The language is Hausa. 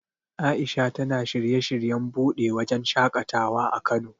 A'isha tana shirye shiryen buɗe wajen shaƙatawa a Kano.